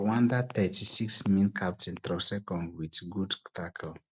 rwanda thirty-six min captain tro sekong wit good tako